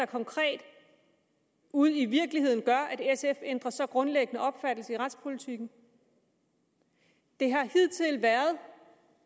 konkret ude i virkeligheden gør at sf ændrer så grundlæggende opfattelse i retspolitikken det har hidtil været